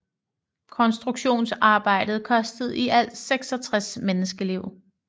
Konstruktionsarbejdet kostede i alt 66 menneskeliv